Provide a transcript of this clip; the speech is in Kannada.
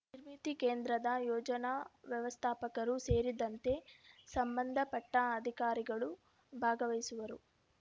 ನಿರ್ಮಿತಿ ಕೇಂದ್ರದ ಯೋಜನಾ ವ್ಯವಸ್ಥಾಪಕರು ಸೇರಿದಂತೆ ಸಂಬಂಧಪಟ್ಟ ಅಧಿಕಾರಿಗಳು ಭಾಗವಹಿಸುವರು